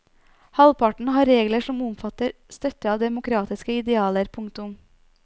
Halvparten har regler som omfatter støtte av demokratiske idealer. punktum